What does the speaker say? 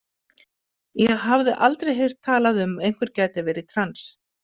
Ég hafði aldrei heyrt talað um að einhver gæti verið trans.